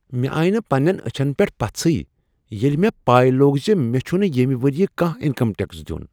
مےٚ آیہ نہٕ پننین أچھن پیٹھ پژٕھے ییٚلہ مےٚ پے لوٚگ ز مےٚ چھنہٕ ییٚمہ ؤریہ کانٛہہ انکم ٹیکس دین۔